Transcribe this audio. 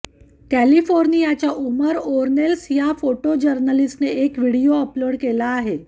कॅलिफोर्नियाच्या Omar Ornelas या photo जर्नलिस्टने एक व्हिडीओ अपलोड केला आहे